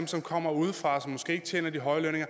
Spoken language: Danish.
som kommer udefra og som måske ikke tjener de høje lønninger